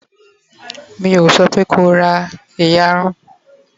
mi o sope ko ra iyarun!